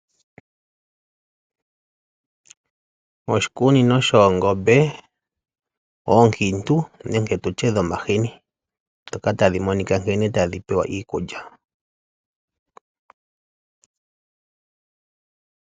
Oshikunino shoongombe oonkiitu nenge tutye dhomahini, ndhoka tadhi monika nkene tadhi pewa iikulya.